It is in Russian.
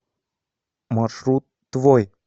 маршрут твой